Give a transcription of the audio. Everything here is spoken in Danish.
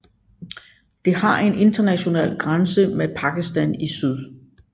Det har en international grænse med Pakistan i syd